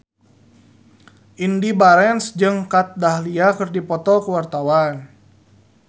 Indy Barens jeung Kat Dahlia keur dipoto ku wartawan